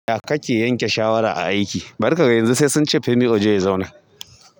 Ya kake yanke shawara a aiki? Bari ka gan yanzu sai sun ce Femi Ojo ya zauna.